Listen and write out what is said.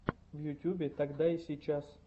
в ютубе тогда и сейчас